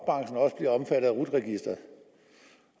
at af rut registeret